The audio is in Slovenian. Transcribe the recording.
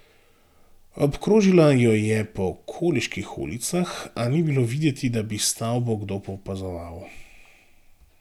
Obkrožila jo je po okoliških ulicah, a ni bilo videti, da bi stavbo kdo opazoval.